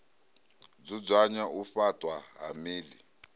dzudzanya u faṱwa ha miḓi